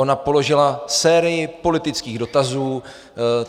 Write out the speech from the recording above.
Ona položila sérii politických dotazů.